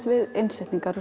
við innsetningar